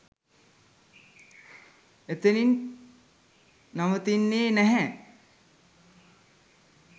එතනින් නවතින්නෙ නැහැ.